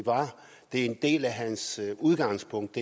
en del af hans udgangspunkt